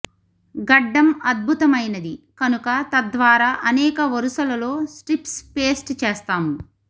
గడ్డం అద్భుతమైనది కనుక తద్వారా అనేక వరుసలలో స్ట్రిప్స్ పేస్ట్ చేస్తాము